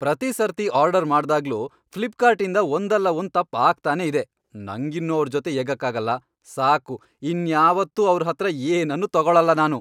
ಪ್ರತೀ ಸರ್ತಿ ಆರ್ಡರ್ ಮಾಡ್ದಾಗ್ಲೂ ಫ್ಲಿಪ್ಕಾರ್ಟಿಂದ ಒಂದಲ್ಲ ಒಂದ್ ತಪ್ಪ್ ಆಗ್ತಾನೇ ಇದೆ, ನಂಗಿನ್ನು ಅವ್ರ್ ಜೊತೆ ಏಗಕ್ಕಾಗಲ್ಲ, ಸಾಕು ಇನ್ಯಾವತ್ತೂ ಅವ್ರ್ ಹತ್ರ ಏನನ್ನೂ ತಗೊಳಲ್ಲ ನಾನು.